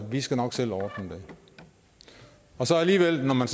vi skal nok selv ordne det og så alligevel når man